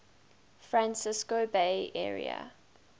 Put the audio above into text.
francisco bay area